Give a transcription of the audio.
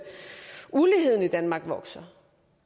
uligheden i danmark vokser